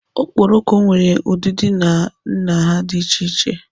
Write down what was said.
Okporoko nwere ụdịdị na nha dị iche iche.